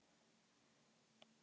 ausa þeir sjó út í ey